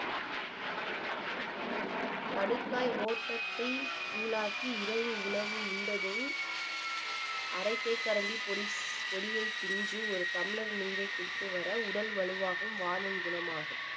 கடுக்காய் ஓட்டத்தை தூளாக்கி இரவு உணவு உண்டதும் அரை தேக்கரண்டி பொடி பொடியை pinch உ ஒரு டம்ளர் நீரை குடித்து வர உடல் வலுவாகும் வாதம் குணமாகும்